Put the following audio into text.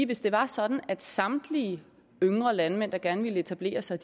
hvis det var sådan at samtlige yngre landmænd der gerne ville etablere sig